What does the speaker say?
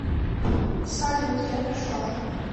салют я пришла